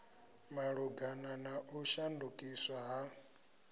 malugana na u shandukiswa ha